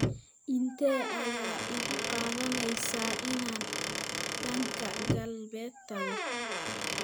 intee ayay igu qaadanaysaa inaan dhanka galbeed tago